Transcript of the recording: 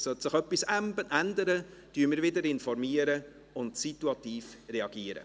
Sollte sich etwas ändern, werden wir wieder informieren und situativ reagieren.